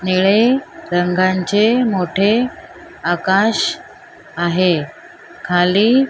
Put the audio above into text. निळे रंगांचे मोठे आकाश आहे खाली --